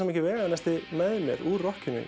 mikið veganesti úr rokkinu